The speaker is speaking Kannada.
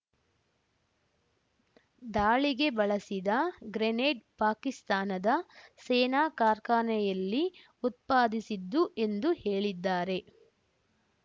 ದಾಳಿಗೆ ಬಳಸಿದ ಗ್ರೆನೇಡ್‌ ಪಾಕಿಸ್ತಾನದ ಸೇನಾ ಕಾರ್ಖಾನೆಯಲ್ಲಿ ಉತ್ಪಾಸಿದಿಸಿದ್ದು ಎಂದು ಹೇಳಿದ್ದಾರೆ